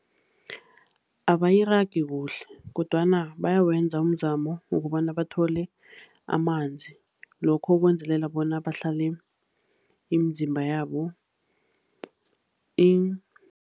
Abayiragi kuhle kodwana bayawenza umzamo wokobana bathole amanzi lokho ukwenzelela bona bahlale imizimba yabo